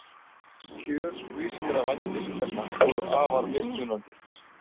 Kjör grískra vændiskvenna voru afar mismunandi.